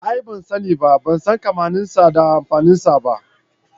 A'a ban sani ba, ban san kammanin sa da amfanin sa ba.